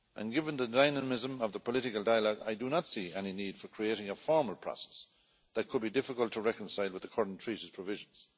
Given the dynamism of the political dialogue, I do not see any need for creating a formal process that could be difficult to reconcile with the current Treaties' provisions.